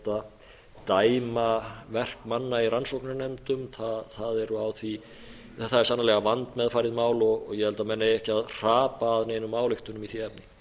að láta dæma verk manna í rannsóknarnefndum það er sannarlega vandmeðfarið mál og ég held að menn eigi ekki hrapa að neinum ályktunum í því efni